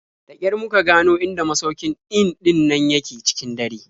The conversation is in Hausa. Da ƙyar muka gano inda masaukin in ɗin nan yake cikin dare.